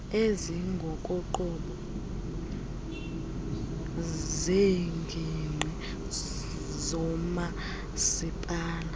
ezingokoqobo zeengingqi zomasipala